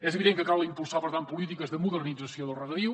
és evident que cal impulsar per tant polítiques de modernització del regadiu